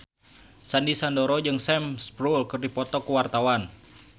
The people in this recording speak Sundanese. Sandy Sandoro jeung Sam Spruell keur dipoto ku wartawan